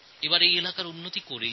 এই এলাকার উন্নয়ন করতেই হবে